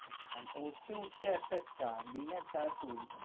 আর উঠতে উঠতে একটা চা। বিনা চা তো,